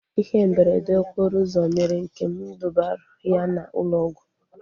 Ihe mberede okporo ụzọ mere Nkem dubara ya na ụlọ ọgwụ